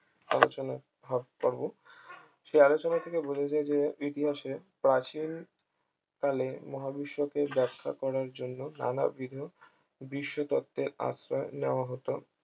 আলোচনা হ্যাঁ পারব সে আলোচনা থেকে বোঝা যায় যে ইতিহাসের প্রাচীন কালের মহাবিশ্বকে ব্যাখ্যা করার জন্য নানাবিধ বিশ্ব তত্ত্বের আশ্রয় নেওয়া হত